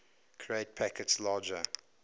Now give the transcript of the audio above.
create packets larger